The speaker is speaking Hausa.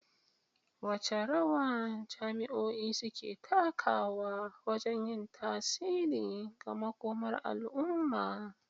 Wace rawa jami'o'i suke takawa wajen yin tasiri ga makomar al'umma?